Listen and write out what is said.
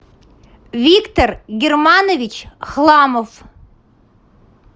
виктор германович хламов